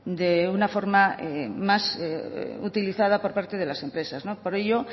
de una forma más utilizada por parte de las empresas por ello